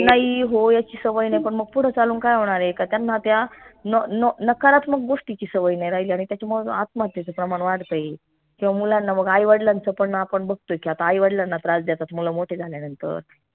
हो याची सवय नाई पन मग पुढं चालून काय होणार आय का त्यांना त्या न न नकारात्मक गोष्टीची सवय नाई राहिली आणि त्याची मग आत्महत्येचं प्रेमात वाढतंय किंव्हा मुलांना मग आई वडलांच पण आपण बघतोय की आता आई वडलांना त्रास देतात मुलं मोठे झाल्या नंतर